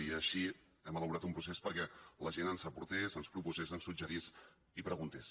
i així hem elaborat un procés perquè la gent ens aportés ens proposés ens suggerís i preguntés